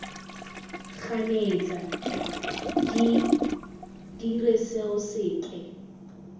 ganetsa de dire seo seke